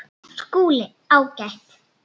SKÚLI: Ágætt!